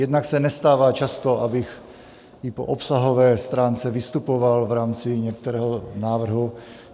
Jednak se nestává často, abych i po obsahové stránce vystupoval v rámci některého návrhu.